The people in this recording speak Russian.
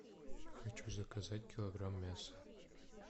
хочу заказать килограмм мяса